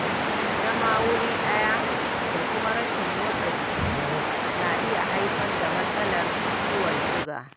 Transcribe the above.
Zama wuri daya da kuma rashin motsa jiki na iya haifar da matsalar ciwon suga